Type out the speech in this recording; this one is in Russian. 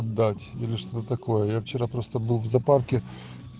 дать или что такое я вчера просто был в зоопарке